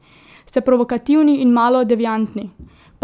Ste provokativni in malo deviantni.